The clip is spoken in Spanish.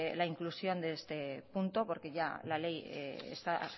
la inclusión de este punto porque ya la ley está